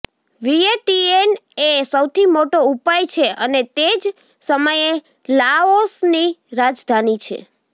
Vientiane એ સૌથી મોટો ઉપાય છે અને તે જ સમયે લાઓસની રાજધાની છે